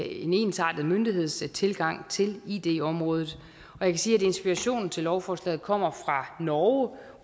en ensartet myndighedstilgang til id området jeg kan sige at inspirationen til lovforslaget kommer fra norge